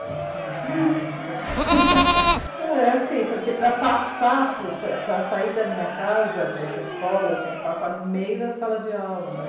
É assim, porque para passar para sair da minha casa, para ir para a escola, eu tinha que passar no meio da sala de aula, né.